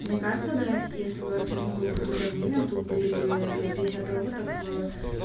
мне кажется блять если бы артем был бы тут админом тут были бы блять пятьдесят роботов